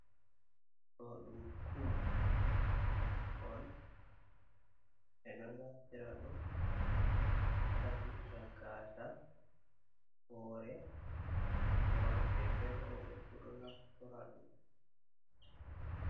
Ɗo ɗum kum on. Be ɗo naftira ɗum sapitira gasa, wore worbe be robe fu ɗo naftora ɗum.